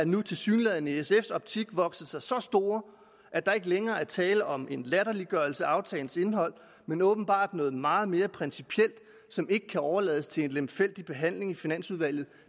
nu tilsyneladende i sfs optik vokset sig så store at der ikke længere er tale om en latterliggørelse af aftalens indhold men åbenbart noget meget mere principielt som ikke kan overlades til en lemfældig behandling i finansudvalget